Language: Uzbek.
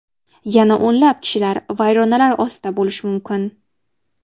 Yana o‘nlab kishilar vayronalar ostida bo‘lishi mumkin.